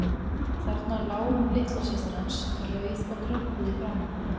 Þarna lá hún litla systir hans, rauð og krumpuð í framan.